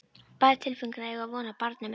bær tilfinning að eiga von á barni með henni.